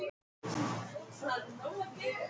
Kom til mín og tók brosandi við henni.